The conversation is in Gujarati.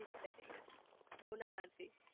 બિચારી ને બઉ ના મારતી